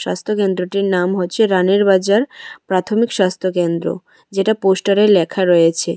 স্বাস্থ্য কেন্দ্রটির নাম হচ্ছে রানির বাজার প্রাথমিক স্বাস্থ্যকেন্দ্র যেটা পোস্টারে লেখা রয়েছে।